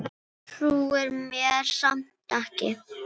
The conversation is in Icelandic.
Trúir mér samt ekki.